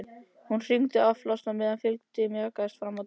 Hún hringdi án afláts á meðan fylgdin mjakaðist fram dalinn.